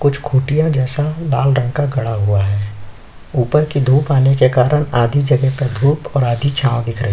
कुछ खुटिया जैसा लाल रंग गड़ा हुआ है ऊपर धुप आने के कारण आधी जगह का धुप और आधी छाव दिख रही है।